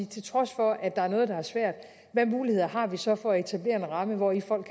til trods for at der er noget er svært hvilke muligheder har vi så for at etablere en ramme hvori folk